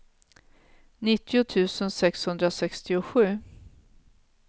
nittio tusen sexhundrasextiosju